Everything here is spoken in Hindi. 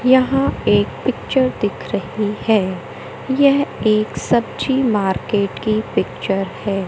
यहां एक पिक्चर दिख रही है यह एक सब्जी मार्केट की पिक्चर है।